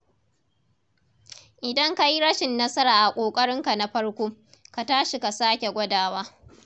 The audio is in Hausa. Idan ka yi rashin nasara a ƙoƙarinka na farko, ka tashi ka sake gwadawa.